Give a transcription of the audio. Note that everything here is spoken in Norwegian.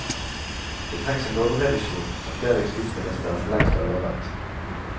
Det trengs en lovrevisjon, som flere justisministre forlengst har lovet.